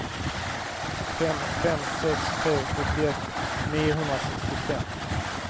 fem fem sex tre sjuttioett niohundrasextiofem